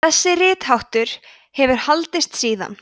þessi ritháttur hefur haldist síðan